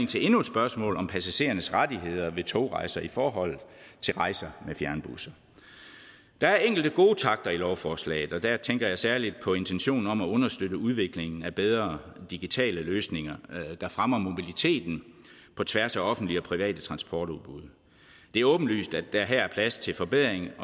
til endnu et spørgsmål om passagerernes rettigheder ved togrejser i forhold til rejser med fjernbusser der er enkelte gode takter i lovforslaget og der tænker jeg særlig på intentionen om at understøtte udviklingen af bedre digitale løsninger der fremmer mobiliteten på tværs af offentlige og private transportudbud det er åbenlyst at der her er plads til forbedring